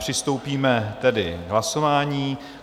Přistoupíme tedy k hlasování.